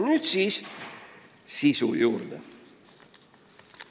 Nüüd sisu juurde.